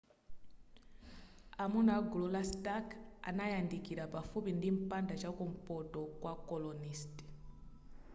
amuna a gulu la stark anayandikira pafupi ndi mpanda chakumpoto kwa colonist